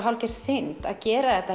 hálfgerð synd að gera þetta